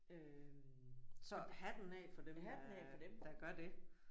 Øh så hatten af for dem der der gør det